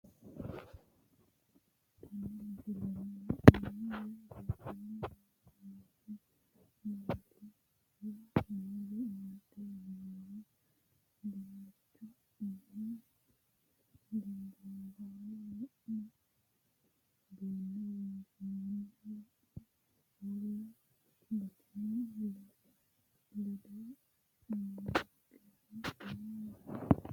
Tenne misilenni la'nanniri woy leellannori maattiya noori amadde yinummoro dinicha umme ginboollaho duunne wonshiinoonihu wo'me uulla gattinohu ledo umoonnikkihu noo yaatte